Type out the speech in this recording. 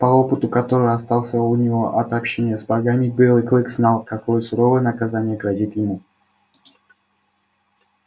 по опыту который остался у него от общения с богами белый клык знал какое суровое наказание грозит ему